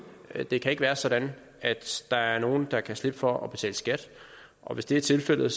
det kan ikke være sådan at der er nogle der kan slippe for at betale skat og hvis det er tilfældet